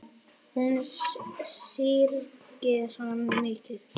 Hún syrgði hann mikið.